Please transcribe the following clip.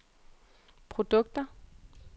produkter